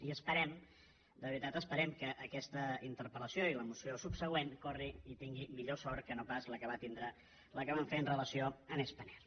i esperem de veritat ho esperem que aquesta interpel·lació i la moció subsegüent corri i tingui millor sort que no pas la que vam fer amb relació a span air